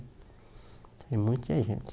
Tem muita gente.